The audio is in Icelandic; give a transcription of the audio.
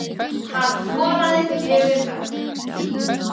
Hann skoraði fjögur mörk